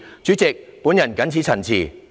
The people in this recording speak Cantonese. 主席，我謹此陳辭。